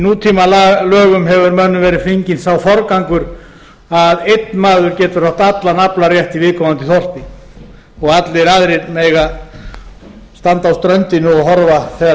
þeirrar veiði í nútímalögum hefur mönnum verið fenginn sá forgangur að einn maður getur átt allan aflarétt í viðkomandi þorpi og allir aðrir mega standa á ströndinni og horfa þegar